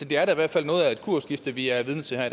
det er da i hvert fald noget af et kursskifte vi er vidne til her